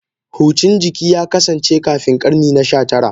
Hucin jiki ya kasance kafin karni na 19.